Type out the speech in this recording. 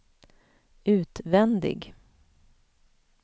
utvändig